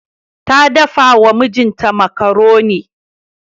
Ta dafawa mijinta makaroni.